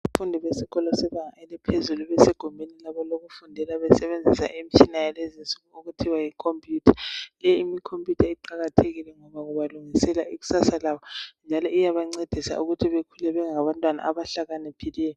Abafundi besikolo sebanga eliphezulu ,besegumbini labo lokufundela besebenzisa imitshina yalezinsuku okuthiwa yi computer .Leyi computer iqakathekile ngoba ibalungisela ikusasa labo njalo iyabancedisa ukuthi bekhule bengabantwana abahlakaniphileyo.